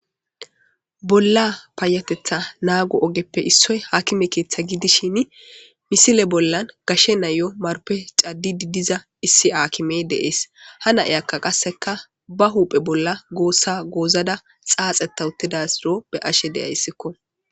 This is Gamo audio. Bolla paayatetha naagu ogeppe issoy haakime keeththa gidishin misile bollan gashe nayo marpe cadi didiza issi haakime deees ha nai akka qasseka ba huuphe bolla goossa goozada xaaxetawutidasiro be ashe deyayssikko.